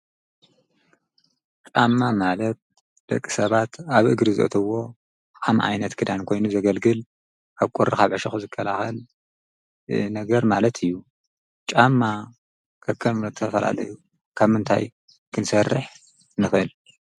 ቃማ ማለት ለቂ ሰባት ኣብ እግሪ ዘትዎ ሓም ዓይነት ክዳን ኮይኑ ዘገልግል ኣብ ቈሪ ሓብዐሽኹ ዝከልኸል ነገር ማለት እዩ ጫማ ከከልምለተ ፈላለዩ ካም እንታይ ክንሠርሕ ንኽል?